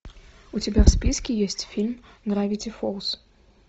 у тебя в списке есть фильм гравити фолз